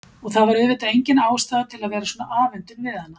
Og það var auðvitað engin ástæða til að vera svona afundin við hana.